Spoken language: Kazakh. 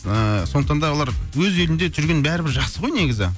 ыыы сондықтан да олар өз елінде жүрген бәрібір жақсы ғой негізі